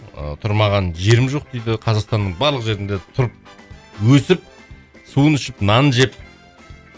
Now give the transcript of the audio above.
ыыы тұрмаған жерім жоқ дейді қазақстанның барлық жерінде тұрып өсіп суын ішіп нанын жеп